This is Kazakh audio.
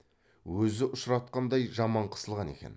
өзі ұшыратқандай жаман қысылған екен